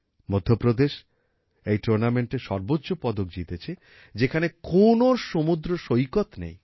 মধ্যপ্রদেশ এই টুর্নামেন্টে সর্বোচ্চ পদক জিতেছে যেখানে কোনো সমুদ্র সৈকত নেই